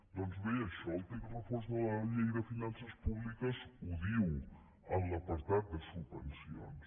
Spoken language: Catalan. doncs bé això el text refós de la llei de finances públiques ho diu en l’apartat de subvencions